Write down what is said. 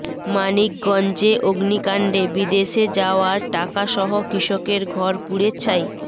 মানিকগঞ্জে অগ্নিকাণ্ডে বিদেশে যাওয়ার টাকাসহ কৃষকের ঘর পুড়ে ছাই